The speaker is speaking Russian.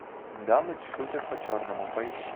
дамы шутят по черному поищи